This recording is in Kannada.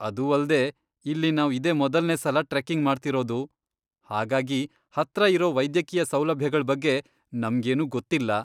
ಅದೂ ಅಲ್ದೇ ಇಲ್ಲಿ ನಾವ್ ಇದೇ ಮೊದಲ್ನೇ ಸಲ ಟ್ರೆಕ್ಕಿಂಗ್ ಮಾಡ್ತಿರೋದು, ಹಾಗಾಗಿ ಹತ್ರ ಇರೋ ವೈದ್ಯಕೀಯ ಸೌಲಭ್ಯಗಳ್ ಬಗ್ಗೆ ನಮ್ಗೇನೂ ಗೊತ್ತಿಲ್ಲ.